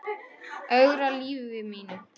Ögra lífi mínu.